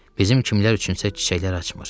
Bizim kimlər üçünsə çiçəklər açmır.